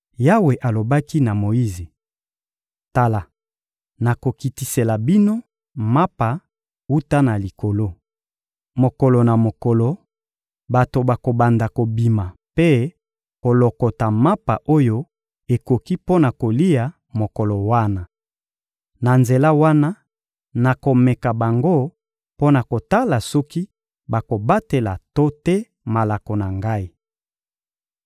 Yawe alobaki na Moyize: — Tala, nakokitisela bino mapa wuta na likolo. Mokolo na mokolo, bato bakobanda kobima mpe kolokota mapa oyo ekoki mpo na kolia mokolo wana. Na nzela wana, nakomeka bango mpo na kotala soki bakobatela to te malako na Ngai.